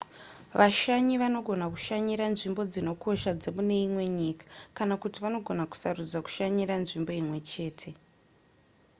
vashanyi vanogona kushanyira nzvimbo dzinokosha dzemune imwe nyika kana kuti vanogona kusarudza kushanyira nzvimbo imwe chete